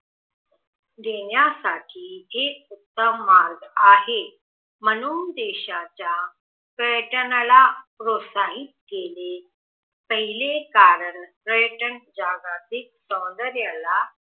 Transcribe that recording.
देण्यासाठी हे उत्तम मार्ग आहे म्हणून देशाच्या पर्यटनाला प्रोत्साहित केले पहिले कारण पर्यटन जागतिक सौंदर्याला